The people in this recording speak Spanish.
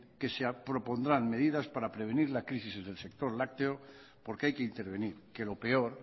que se propondrán medidas para prevenir la crisis del sector lácteo porque hay que intervenir que lo peor